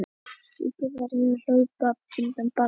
Ríkið verði að hlaupa undir bagga